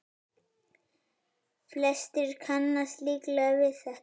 Flestir kannast líklega við þetta.